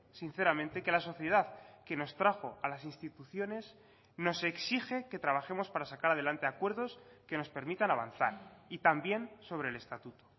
sinceramente que la sociedad que nos trajo a las instituciones nos exige que trabajemos para sacar adelante acuerdos que nos permitan avanzar y también sobre el estatuto